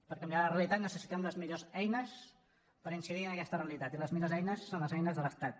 per canviar la realitat necessitem les millors eines per incidir en aquesta realitat i les millors eines són les eines de l’estat